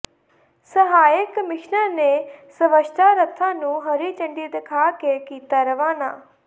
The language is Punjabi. ਸਹਾਇਕ ਕਮਿਸ਼ਨਰ ਨੇ ਸਵੱਛਤਾ ਰੱਥਾਂ ਨੂੰ ਹਰੀ ਝੰਡੀ ਦਿਖਾ ਕੇ ਕੀਤਾ ਰਵਾਨਾ